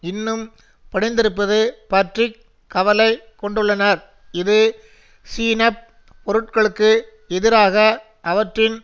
இன்னும் பணிந்திருப்பது பற்றி கவலை கொண்டுள்ளனர் இது சீன பொருட்களுக்கு எதிராக அவற்றின்